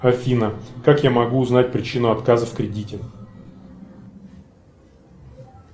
афина как я могу узнать причину отказа в кредите